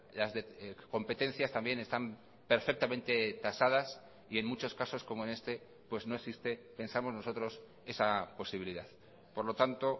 las competencias también están perfectamente tasadas y en muchos casos como en este pues no existe pensamos nosotros esa posibilidad por lo tanto